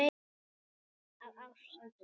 Af ást.